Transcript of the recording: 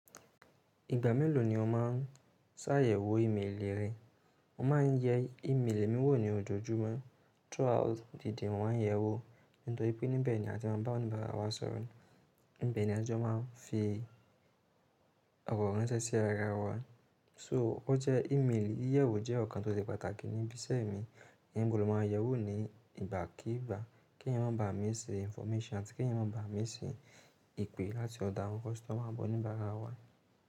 Ìgbà mélòó ni o máa ń ṣàyẹ̀wò ímélì rẹ? Mo ma ń yẹ ímélì mi wò ní ojoojúmọ́ throughout the day. Mo ma ń yẹ wò nítorí pé níbẹ̀ ni a ti má ba ọ̀níbàárà wa sọ̀rọ̀. Níbẹ̀ ni a ti máa ń fi ọ̀rọ̀ ránṣẹ́ sí ara wa. So o jẹ ímélì, ìyẹ̀wò jẹ́ ǹkan tó ṣe pàtàkì níbi iṣẹ́ mi. Níbo ló máa yẹ wò ní ìgbàkígbà, kí ń má ba à mísí information àti kí ń má ba à mísí ìpè láti ọ̀dọ̀ àwọn customer àbi oníbára wa.